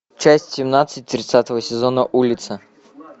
часть семнадцать тридцатого сезона улица